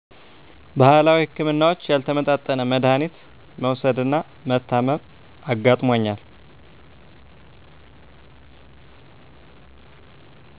ባህላዊ ህክምናዎች ያልተመጣጠነ መዳሀኒት መዉሰድና መታመም አጋጥሞኛል